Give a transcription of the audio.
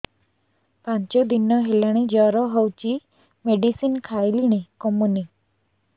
ପାଞ୍ଚ ଦିନ ହେଲାଣି ଜର ହଉଚି ମେଡିସିନ ଖାଇଲିଣି କମୁନି